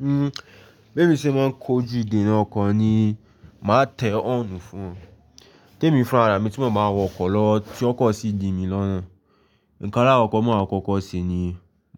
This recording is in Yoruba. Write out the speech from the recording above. Hmm, bí èmi ṣe máa ń kojú ìdènà ọkọ ni, màá tẹ ọ́ọ̀rùn fún un. Témi fún ara mi tí mo máa wọ ọkọ̀ lọ tí ọkọ̀ sì din mi lọ́nà. Ǹkan alákọ̀ọ́kọ́ tí màá kọ́kọ́ ṣe ni,